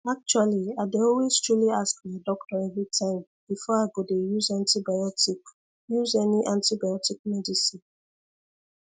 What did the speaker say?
actually i dey always truly ask my doctor everytime before i go dey use any antibiotic use any antibiotic medicine